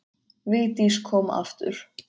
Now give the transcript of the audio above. Vigdís kom aftur.